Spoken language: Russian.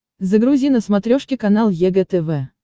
загрузи на смотрешке канал егэ тв